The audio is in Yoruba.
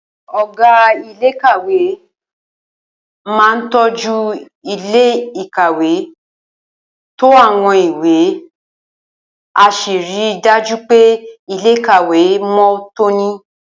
Ò̩gá iléèkàwé a máa tó̩jú ilé ìkàwé, to àwo̩n ìwé, á sì ri dájú pé ilé-ìkàwé mó̩ tóní